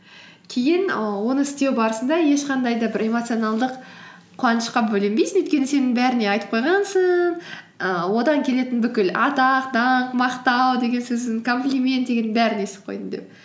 кейін і оны істеу барысында ешқандай да бір эмоционалдық қуанышқа бөленбейсің өйткені сен бәріне айтып қойғансың ііі одан келетін бүкіл атақ даңқ мақтау деген сөздін комплимент дегеннің барлығын естіп қойдың деп